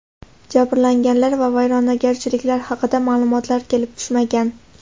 Jabrlanganlar va vayronagarchiliklar haqida ma’lumotlar kelib tushmagan.